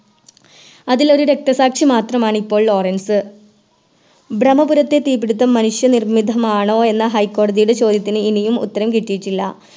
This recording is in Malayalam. ഇതിലൊരു രക്തസാക്ഷി മാത്രമാണിപ്പോൾ ലോറൻസ് ബ്രമ്മപുരത്തെ തീപ്പിടുത്തം മനുഷ്യ നിർമ്മിതമാണോ എന്ന High കോടതിയുടെ ചോദ്യത്തിന് ഇനിയും ഉത്തരം കിട്ടിയിട്ടില്ല